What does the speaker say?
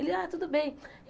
Ele, ah, tudo bem.